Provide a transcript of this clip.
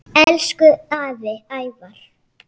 Elsku afi Ævar.